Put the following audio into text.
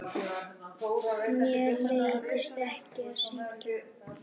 Mér leiðist ekki að syngja.